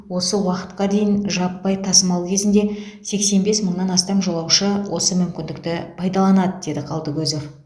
осы уақытқа дейін жаппай тасымал кезінде сексен бес мыңнан астам жолаушы осы мүмкіндікті пайдаланады деді қалдыкозов